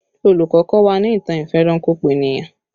Olùkọ́ kọ́ wa ní ìtàn ìfẹranko-peniyan